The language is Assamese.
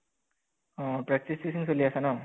অহ practice session চলি আছে ন?